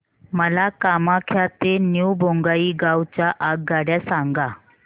मला कामाख्या ते न्यू बोंगाईगाव च्या आगगाड्या सांगा